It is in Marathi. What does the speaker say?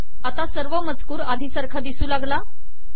आता सर्व मजकूर आधी सारखा दिसू लागला